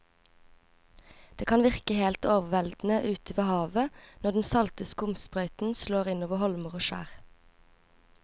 Det kan virke helt overveldende ute ved havet når den salte skumsprøyten slår innover holmer og skjær.